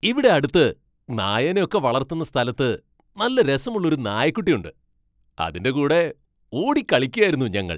ഇവിടെ അടുത്ത് നായേനെ ഒക്കെ വളർത്തുന്ന സ്ഥലത്ത് നല്ല രസമുള്ള ഒരു നായക്കുട്ടി ഉണ്ട്. അതിൻ്റെ കൂടെ ഓടിക്കളിക്കായിരുന്നു ഞങ്ങൾ.